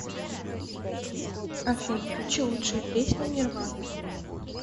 афина включи лучшие песни нирваны